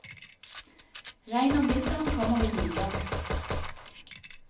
Regnet om vinteren kommer i byger.